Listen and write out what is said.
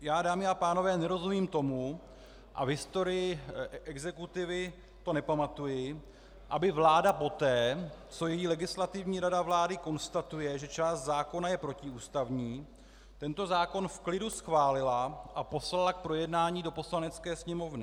Já, dámy a pánové, nerozumím tomu, a v historii exekutivy to nepamatuji, aby vláda poté, co její Legislativní rada vlády konstatuje, že část zákona je protiústavní, tento zákon v klidu schválila a poslala k projednání do Poslanecké sněmovny.